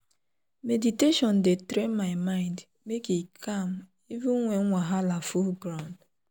to close eye and breathe deep dey balance my body quick.